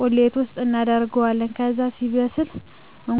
ቁሌት ውስጥ እናደርገዋለን። ከዛ ሲበስል እቁላሉን እና ቅመማቅመሙን አድርገን ሠርተን እንጨርሣለን። ይህ ምግብ የሚዘጋጀው በበዓላት፣ በሠርግ፣ ትልቅ እና የተከበረ እንግዳ ሲመጣ።